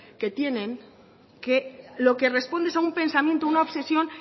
que tienen que lo que responde es a un pensamiento una obsesión